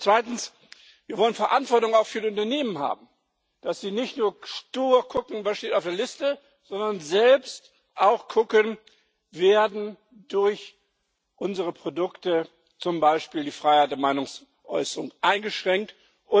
Zweitens Wir wollen Verantwortung auch für die Unternehmen haben, damit sie nicht nur stur gucken, was auf der Liste steht, sondern selbst auch schauen, ob durch unsere Produkte zum Beispiel die Freiheit der Meinungsäußerung eingeschränkt wird.